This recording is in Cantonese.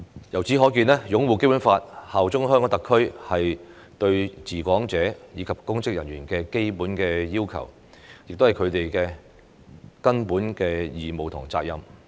由此可見，擁護《基本法》、效忠香港特區是對治港者及公職人員的基本要求，亦是他們的根本義務和責任。